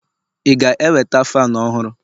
ị ga-eweta fanu ọhụrụ?